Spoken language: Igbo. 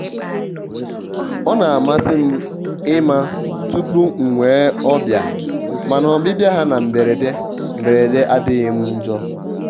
ọ na-amasị m ịma tupu m nwee ọbịa mana ọbịbịa ha na mberede mberede adịghị m njọ.